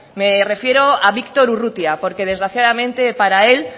me refiero a víctor urrutia porque desgraciadamente para él